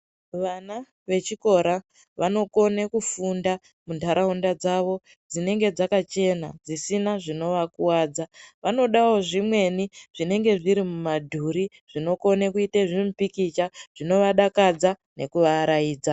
Vana vechikora vanokona kufunda muntaraunda davo dzinenge dzakachena dzisina zvinova kuwadza. Vamodawo zvimweni zvinenge zviri mumadhuri zvinokone kuite zvimupikicha zvinovadakadz anekuvaaraidza.